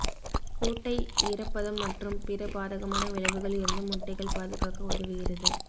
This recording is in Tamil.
கூட்டை ஈரப்பதம் மற்றும் பிற பாதகமான விளைவுகள் இருந்து முட்டைகள் பாதுகாக்க உதவுகிறது